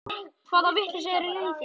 Hvaða vitleysa er eiginlega í þér!